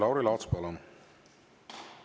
Lauri Laats, palun!